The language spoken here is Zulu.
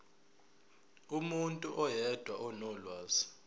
umuntu oyedwa onolwazi